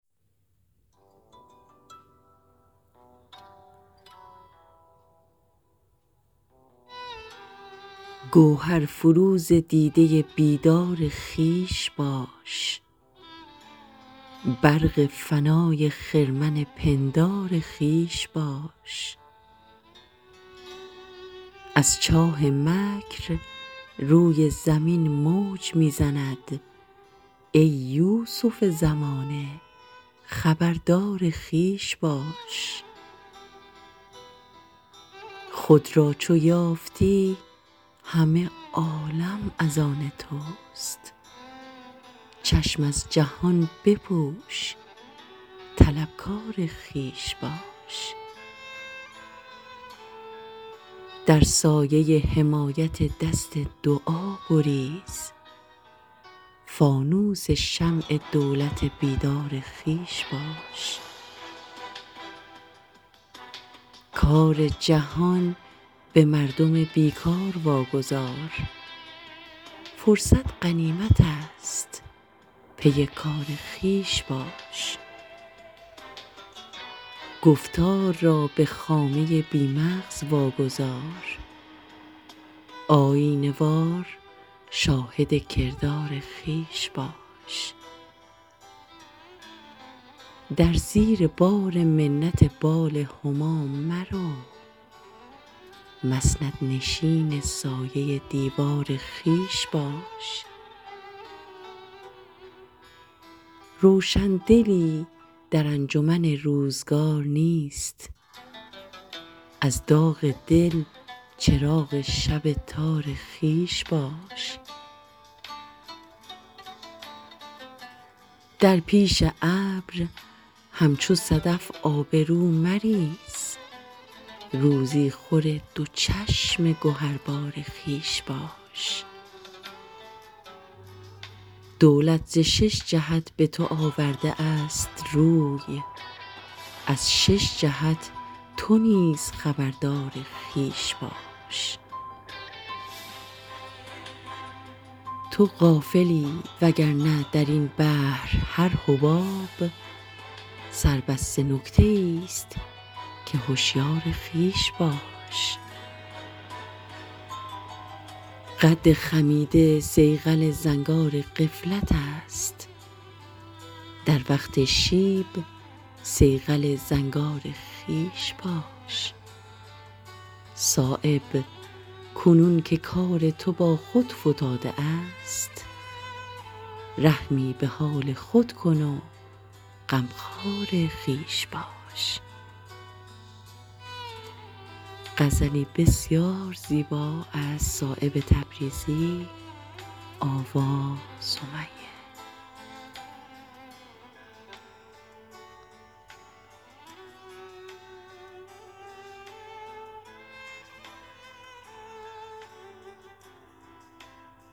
گوهر فروز دیده بیدار خویش باش برق فنای خرمن پندار خویش باش ازچاه مکر روی زمین موج می زند ای یوسف زمانه خبردار خویش باش خود را چو یافتی همه عالم ازان توست چشم از جهان بپوش طلبکار خویش باش در سایه حمایت دست دعا گریز فانوس شمع دولت بیدار خویش باش کار جهان به مردم بیکار واگذار فرصت غنیمت است پی کار خویش باش گفتار را به خامه بی مغز واگذار آیینه وار شاهد کردار خویش باش درزیر بارمنت بال هما مرو مسند نشین سایه دیوار خویش باش روشندلی در انجمن روزگار نیست از داغ دل چراغ شب تار خویش باش در پیش ابر همچو صدف آبرو مریز روزی خور دوچشم گهربار خویش باش دولت زشش جهت به توآورده است روی ازشش جهت تونیز خبردار خویش باش تو غافلی و گرنه درین بحر هر حباب سر بسته نکته ای است که هشیار خویش باش قد خمیده صیقل زنگار غفلت است در وقت شیب صیقل زنگار خویش باش صایب کنون که کار تو با خود فتاده است رحمی به حال خود کن و غمخوار خویش باش